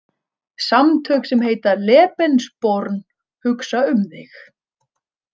Samtök sem heita „Lebensborn“ hugsa um þig.